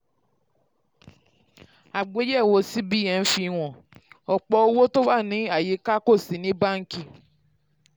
àgbéyẹ̀wò cbn fi àgbéyẹ̀wò cbn fi hàn: ọ̀pọ̀ owó tó wà ní àyíká kò sí ní báńkì.